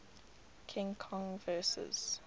king kong vs